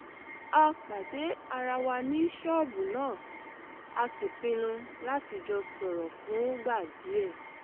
a pàdé ara wa ní ṣọ́ọ̀bù náà a sì pinnu láti jọ sọ̀rọ̀ fúngbà díẹ̀